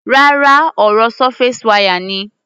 Rárá, ọ̀rọ̀ surface wire ni.